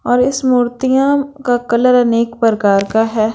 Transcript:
और इस मूर्तियों का कलर अनेक प्रकार का हैं।